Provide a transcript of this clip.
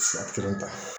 Su kelen ta